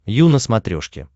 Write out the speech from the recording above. ю на смотрешке